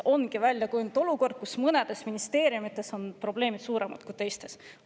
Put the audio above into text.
Mõnes ministeeriumis ongi probleemid suuremad kui teistes.